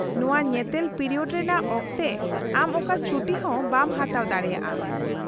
-ᱱᱚᱶᱟ ᱧᱮᱛᱮᱞ ᱯᱤᱨᱤᱭᱳᱰ ᱨᱮᱭᱟᱜ ᱚᱠᱛᱮ ᱟᱢ ᱚᱠᱟ ᱪᱷᱩᱴᱤ ᱦᱚᱸ ᱵᱟᱢ ᱦᱟᱛᱟᱣ ᱫᱟᱲᱮᱭᱟᱜᱼᱟ ᱾